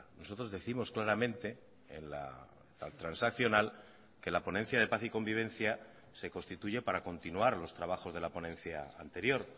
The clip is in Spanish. nosotros décimos claramente en la transaccional que la ponencia de paz y convivencia se constituye para continuar los trabajos de la ponencia anterior